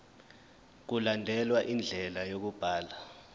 mkulandelwe indlela yokubhalwa